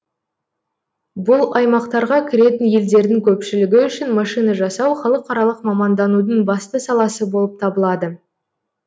бұл аймақтарға кіретін елдердің көпшілігі үшін машина жасау халықаралық маманданудың басты саласы болып табылады